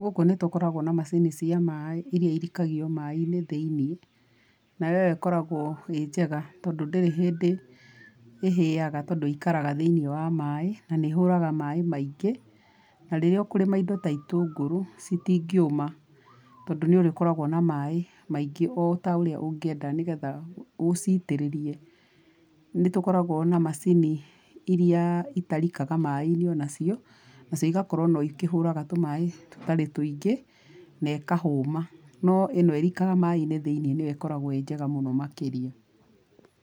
Gũkũ nĩ tũkoragwo na macini cia maĩ irĩa irikagio maĩ-inĩ thĩiniĩ, nayo ĩyo ĩkoragwo ĩ njega tondũ ndĩrĩ hĩndĩ ĩhĩaga tondũ ĩikaraga thĩiniĩ wa maĩ na nĩ ĩhũraga maĩ maingĩ, na rĩrĩa ũkũrĩma indo ta itũngũrũ, citingĩũma tondũ nĩ ũrĩkoragwo na maĩ maingĩ o ta ũrĩa ũngĩenda nĩ getha ũcitĩrĩrie. Nĩ tũkoragwo na macini irĩa itarikaga maĩ-inĩ ona cio, na cio igakorwo no ikĩhũraga tũmaĩ tũtarĩ tũingĩ, na ĩkahũma. No ĩno ĩrikaga maĩ-inĩ thĩiniĩ nĩyo ĩkoragwo ĩ njega mũno makĩria.